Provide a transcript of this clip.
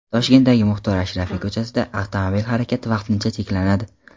Toshkentdagi Muxtor Ashrafiy ko‘chasida avtomobil harakati vaqtincha cheklanadi.